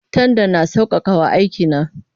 Tandan na sauƙaƙa wa aiki na.